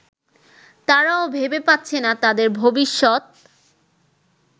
তারাও ভেবে পাচ্ছে না তাদের ভবিষ্যৎ